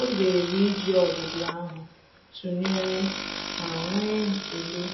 Ọ́ zèrè íjí ọ́dị́dị́ áhụ́ tụnyere ma nwee ekele